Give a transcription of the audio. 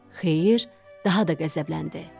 Xeyir daha da qəzəbləndi.